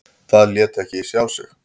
Það lét ekki sjá sig.